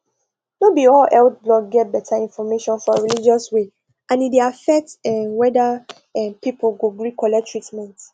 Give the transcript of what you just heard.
no be all health blog get better information for religious way and e dey affect um whether um people go gree collect treatment